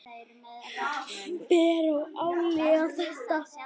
Ber að átelja þetta.